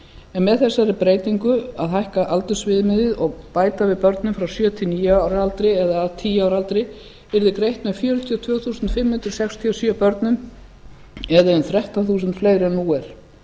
en með þessari breytingu að hækka aldursviðmiðið og bæta við börnum frá sjö til níu ára aldri eða að tíu ára aldri yrði greitt með fjörutíu og tvö þúsund fimm hundruð sextíu og sjö börnum eða um þrettán þúsund fleiri en nú er